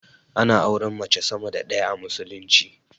Ana auren mace sama da ɗaya a musulunci